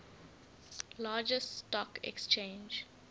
largest stock exchange